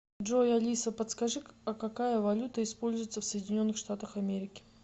джой алиса подскажи а какая валюта используется в соединенных штатах америки